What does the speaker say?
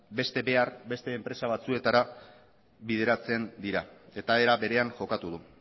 beste enpresa batzuetara bideratzen dira eta era berean jokatu du